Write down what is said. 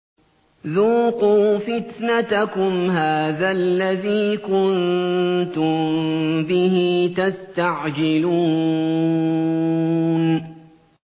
ذُوقُوا فِتْنَتَكُمْ هَٰذَا الَّذِي كُنتُم بِهِ تَسْتَعْجِلُونَ